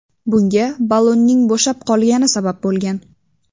Bunga ballonning bo‘shab qolgani sabab bo‘lgan.